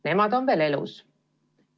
Nemad on veel elus.